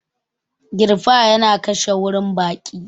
Girfa yana kashe warin baki